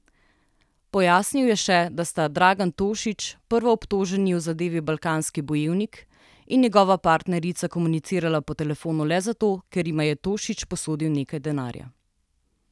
Pojasnil je še, da sta Dragan Tošić, prvoobtoženi v zadevi Balkanski bojevnik, in njegova partnerica komunicirala po telefonu le zato, ker jima je Tošić posodil nekaj denarja.